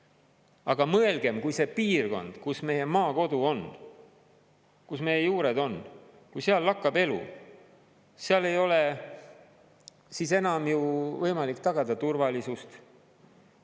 Aga mõelgem, kui see piirkond, kus meie maakodu on, kus meie juured on, kui seal lakkab elu, seal ei ole siis enam ju võimalik tagada turvalisust.